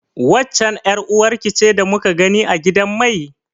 Waccen ƴar uwarki ce da muka gani a gidan mai?